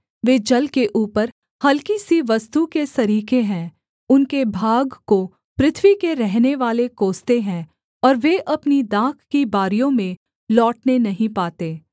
वे जल के ऊपर हलकी सी वस्तु के सरीखे हैं उनके भाग को पृथ्वी के रहनेवाले कोसते हैं और वे अपनी दाख की बारियों में लौटने नहीं पाते